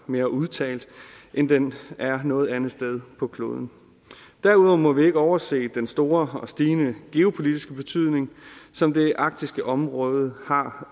mere udtalt end den er noget andet sted på kloden derudover må vi ikke overse den store og stigende geopolitiske betydning som det arktiske område har